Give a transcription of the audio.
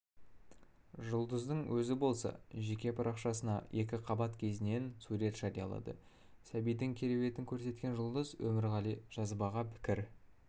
жұлдыздың өзі болса жеке парақшасына екіқабат кезінен сурет жариялады сәбидің кереуетін көрсеткен жұлдыз өмірғали жазбаға пікір